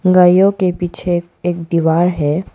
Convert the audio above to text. गायों के पीछे एक दीवार है।